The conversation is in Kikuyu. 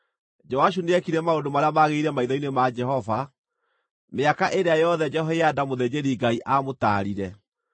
Joashu nĩekire maũndũ marĩa magĩrĩire maitho-inĩ ma Jehova mĩaka ĩrĩa yothe Jehoiada mũthĩnjĩri-Ngai aamũtaarire.